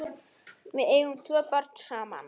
Við eigum tvö börn saman.